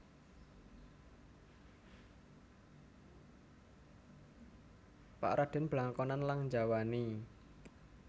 Pak Raden blangkonan lang njawani